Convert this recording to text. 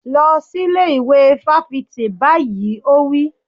Lọ sí ilé ìwé fáfitì báyìí! Ó wí.